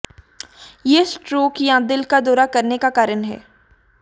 यह स्ट्रोक या दिल का दौरा करने का कारण है